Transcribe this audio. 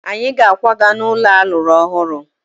Anyị ga-akwaga n'ụlọ a lụrụ ọhụrụ.